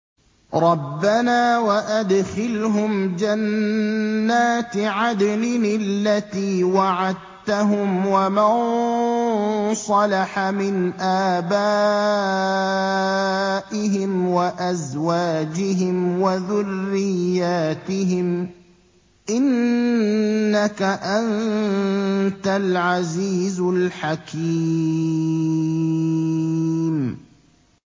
رَبَّنَا وَأَدْخِلْهُمْ جَنَّاتِ عَدْنٍ الَّتِي وَعَدتَّهُمْ وَمَن صَلَحَ مِنْ آبَائِهِمْ وَأَزْوَاجِهِمْ وَذُرِّيَّاتِهِمْ ۚ إِنَّكَ أَنتَ الْعَزِيزُ الْحَكِيمُ